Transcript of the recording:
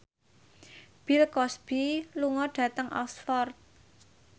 Bill Cosby lunga dhateng Oxford